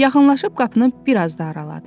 Yaxınlaşıb qapını biraz da araladı.